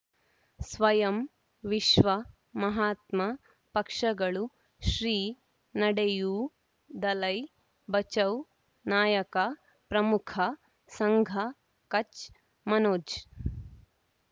ಸ್ವಯಂ ವಿಶ್ವ ಮಹಾತ್ಮ ಪಕ್ಷಗಳು ಶ್ರೀ ನಡೆಯೂ ದಲೈ ಬಚೌ ನಾಯಕ ಪ್ರಮುಖ ಸಂಘ ಕಚ್ ಮನೋಜ್